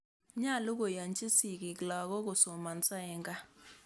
Nyalu koyanchi sigik lagok kosomanso eng' kaa.